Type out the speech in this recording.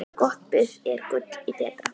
Gott buff er gulli betra.